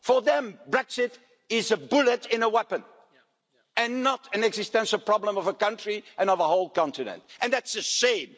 For them, Brexit is a bullet in a weapon and not an existential problem of a country and of a whole continent, and that's a shame.